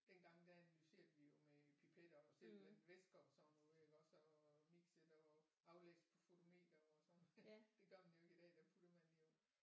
Dengang der analyserede vi jo med pipetter og simpelthen væsker og sådan noget iggås og mixede og aflæste på fotometer og sådan noget det gør man jo ikke i dag der putter man jo